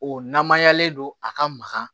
O namayalen don a ka maga